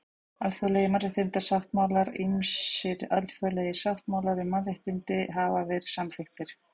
Alþjóðlegir mannréttindasáttmálar Ýmsir alþjóðlegir sáttmálar um mannréttindi hafa verið samþykktir.